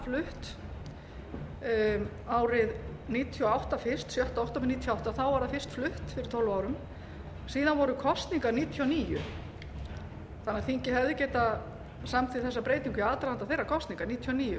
flutt árið nítján hundruð níutíu og átta fyrst sjötta október nítján hundruð níutíu og átta þá var það fyrst flutt fyrir tólf árum síðan voru kosningar nítján hundruð níutíu og níu þannig að þingið hefði getað samþykkt þessa breytingu í aðdraganda þeirra kosninga nítján hundruð níutíu og